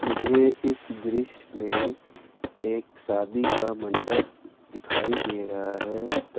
ये इस दृश्य में एक शादी का मंडप दिखाई दे रहा है त--